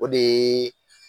O de yeee